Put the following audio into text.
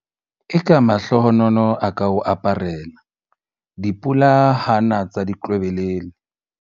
Eka mahlohonolo a ka o aparela, dipula ha na tsa ditlwebelele!